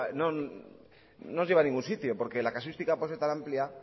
no nos lleva a ningún sitio porque la casuística puede ser tan amplia